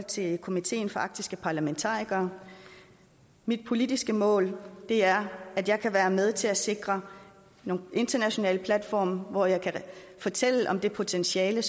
til komiteen for arktiske parlamentarikere mit politiske mål er at jeg kan være med til at sikre nogle internationale platforme hvor jeg kan fortælle om det potentiale